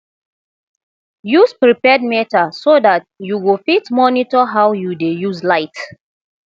use prepaid meter so dat yu go fit monitor how yu dey use light